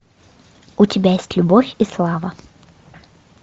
у тебя есть любовь и слава